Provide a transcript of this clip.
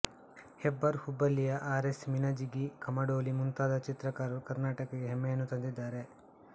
ಹೆಬ್ಬಾರ್ ಹುಬ್ಬಳ್ಳಿಯ R S Minajigi Kamadoli ಮುಂತಾದ ಚಿತ್ರಕಾರರು ಕರ್ಣಾಟಕಕ್ಕೆ ಹೆಮ್ಮೆಯನ್ನು ತಂದಿದ್ದಾರೆ